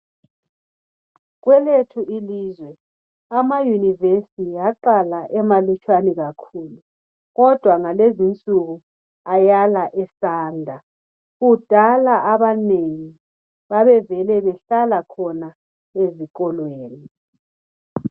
Kwelethu ilizwe, ama yunivesi aqala emalutswana kakhulu, kodwa ngalezinsuku ayala esanda, kudala abanengi, bavevele behlala khona ezikolweni.